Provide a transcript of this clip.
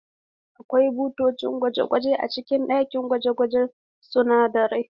Akwai bututun gwaji a cikin ɗakin gwaje-gwajen sunadarai